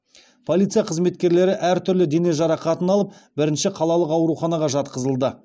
полиция қызметкерлері әртүрлі дене жарақатын алып бірінші қалалық ауруханаға жатқызылды